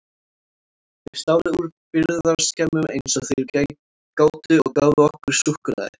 Þeir stálu úr birgðaskemmum eins og þeir gátu og gáfu okkur súkkulaði.